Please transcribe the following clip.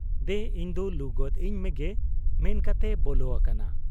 ᱫᱮᱱ ᱤᱧᱫᱚ ᱞᱩᱜᱚᱫ ᱟᱹᱧ ᱢᱮᱜᱮ' ᱼᱼᱢᱮᱱ ᱠᱟᱛᱮᱭ ᱵᱚᱞᱚ ᱟᱠᱟᱱᱟ ᱾